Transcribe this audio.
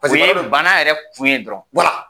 bana yɛrɛ fu ye dɔrɔn